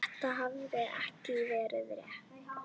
Þetta hafði ekki verið létt.